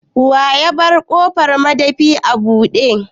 Wa yabar ƙofan madafin a bude?